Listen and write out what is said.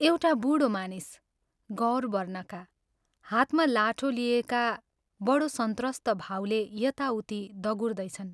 एउटा बूढो मानिस, गौर वर्णका, हातमा लाठो लिएका बडो संत्रस्त भावले यता उति दगुर्दैछन्।